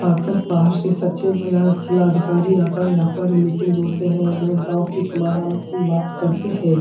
आकर बाहर से सचिव या जिलाधिकारी आकर यहाँ पर मीटिंग जोड़ते हैं और वह गाँव की समाधान की बात करते हैं।